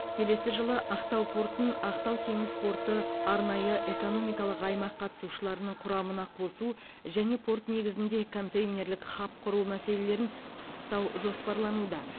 келесі жылы ақтау портын ақтау теңіз порты арнайы экономикалық аймақ қатысушыларының құрамына қосу және порт негізінде контейнерлік хаб құру мәселелерін пысықтау жоспарлануда